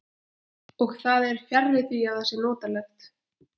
Og það er fjarri því að það sé notalegt.